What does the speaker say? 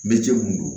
Me cɛ mun do